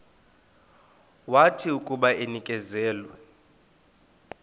wathi akuba enikezelwe